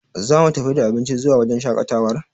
Za mu tafi da abinci zuwa wajen shaƙatawar?